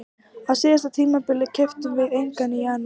Á síðasta tímabili keyptum við engan í janúar.